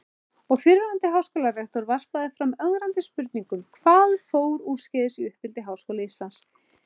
Og fyrrverandi háskólarektor varpaði fram ögrandi spurningum: Hvað fór úrskeiðis í uppeldi Háskóla Íslands?